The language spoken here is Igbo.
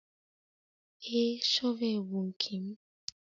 Ee, shọvel bụ nke m.